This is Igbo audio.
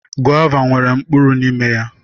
Gọva nwere mkpụrụ n'ime ya.